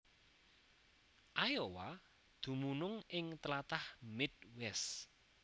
Iowa dumunung ing tlatah Midwest